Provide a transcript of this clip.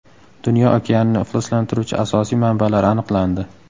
Dunyo okeanini ifloslantiruvchi asosiy manbalar aniqlandi.